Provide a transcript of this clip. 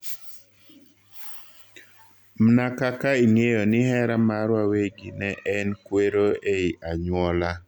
Mna kaka ing'eyo ni hera mar wawegi ne en kwero ei anyuola